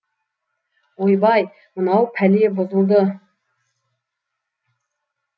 ойбай мынау пәле бұзылды